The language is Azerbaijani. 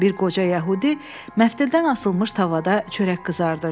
Bir qoca yəhudi məftildən asılmış tavada çörək qızardırdı.